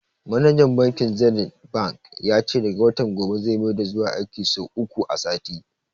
Manajan bankin zenith bank ya ce daga watan gobe zai maida zuwa aiki sau uku a sati